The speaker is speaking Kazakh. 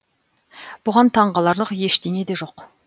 бұған таң қаларлық ештеңе де жоқ